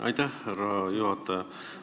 Aitäh, härra juhataja!